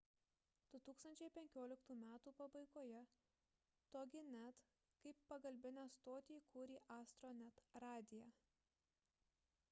2015 m pabaigoje toginet kaip pagalbinę stotį įkūrė astronet radiją